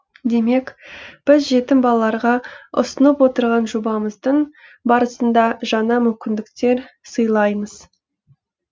демек біз жетім балаларға ұсынып отырған жобамыздың барысында жаңа мүмкіндіктер сыйлаймыз